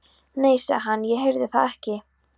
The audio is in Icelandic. Nei, sagði hann, ég heyrði það ekki.